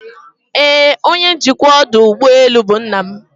Ee, onye njikwa ọdụ ụgbọ elu bụ nna m